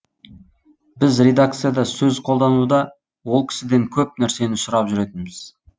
біз редакцияда сөз қолдануда ол кісіден көп нәрсені сұрап жүретінбіз